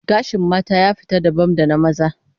Gashin mata ya fita dabam da na maza